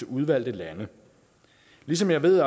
udvalgte lande ligesom jeg ved